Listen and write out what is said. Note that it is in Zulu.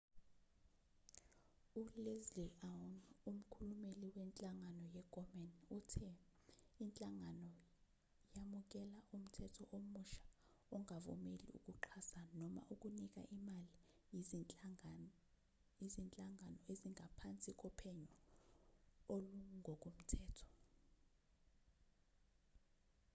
uleslie aun umkhulumeli wenhlangano ye-komen uthe inhlangano yamukela umthetho omusha ongvumeli ukuxhasa noma ukunika imali izinhlangano ezingaphansi kophenyo olungokomthetho